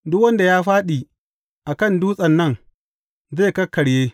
Duk wanda ya fāɗi a kan dutsen nan, zai kakkarye.